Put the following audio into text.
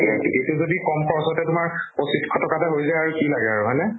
এইটো এইটো যদি কম খৰচতে পঁছিছ শ টকাতে হৈ যাই, কি লাগে আৰু হয় নে?